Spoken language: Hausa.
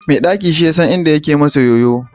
mai daki shi ya san inda ɗaki ke yoyo